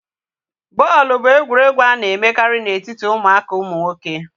bọọlụ bụ egwuregwu a na-emekarị na etiti ụmụaka ụmụ nwoke